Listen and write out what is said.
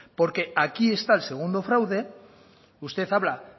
porque aquí está el segundo fraude usted habla